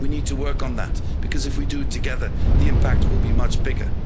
We need to work on that, because if we do it together, the impact will be much bigger.